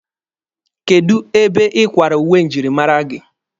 Kedụ ebe ị kwara uwe njirimara gị?